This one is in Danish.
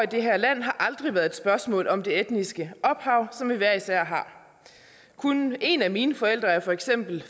det her land har aldrig været et spørgsmål om det etniske ophav som vi hver især har kun en af mine forældre er for eksempel